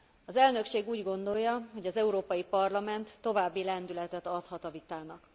Az Elnökség úgy gondolja, hogy az Európai Parlament további lendületet adhat a vitának.